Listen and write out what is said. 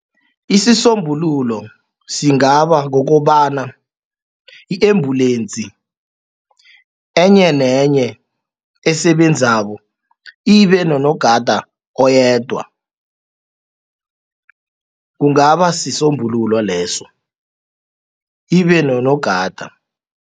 Isisombululo singaba kukobana i-embulensi enye nenye esebenzako ibe nonogada oyedwa kungaba sisombululo leso ibe nonogada.